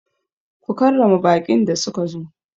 Ku karrama baƙin da suka zo!